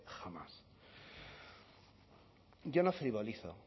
jamás yo no frivolizo